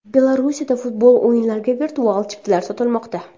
Belarusdagi futbol o‘yinlariga virtual chiptalar sotilmoqda.